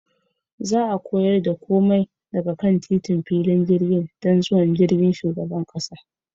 Za a kawar da komai daga kan titin filin jirgin don zuwan jirgin shugaban kasa.